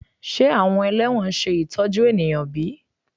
Ṣe awọn ẹlẹwọn ṣe itọju eniyan bi?